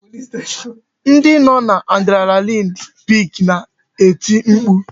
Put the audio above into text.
Ndị nọ n'adrenaline peak na-eti mkpu